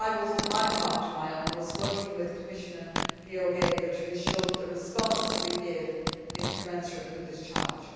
For my part, I will do my utmost, working with Commissioner Georgieva to ensure that the response that we give is commensurate with this challenge.